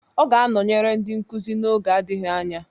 Ọ ga-anọnyere ndị nkuzi n'oge adịghị anya